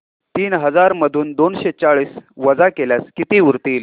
तीन हजार मधून दोनशे चाळीस वजा केल्यास किती उरतील